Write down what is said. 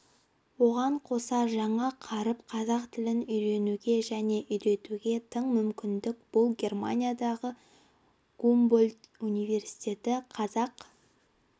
оған қоса жаңа қаріп қазақ тілін үйренуге және үйретуге тың мүмкіндік бұл германиядағы гумбольдт университеті қазақ